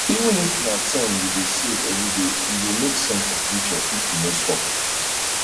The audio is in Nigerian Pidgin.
even if na ten you dey save everyday e go make sense for future if you no stop